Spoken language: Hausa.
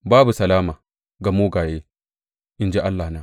Babu salama ga mugaye, in ji Allahna.